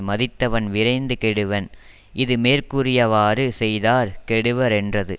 மதித்தவன் விரைந்து கெடுவன் இது மேற்கூறியவாறு செய்தார் கெடுவரென்றது